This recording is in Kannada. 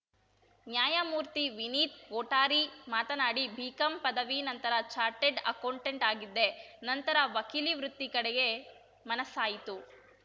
ನ್ಯಾಯಮೂರ್ತಿವಿನೀತ್‌ ಕೊಠಾರಿ ಮಾತನಾಡಿ ಬಿಕಾಂ ಪದವಿ ನಂತರ ಚಾರ್ಟೆಡ್‌ ಅಕೌಂಟೆಂಟ್‌ ಆಗಿದ್ದೆ ನಂತರ ವಕೀಲಿ ವೃತ್ತಿ ಕಡೆಗೆ ಮನಸ್ಸಾಯಿತು